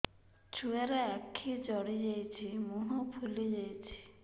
ଛୁଆର ଆଖି ଜଡ଼ି ଯାଉଛି ମୁହଁ ଫୁଲି ଯାଇଛି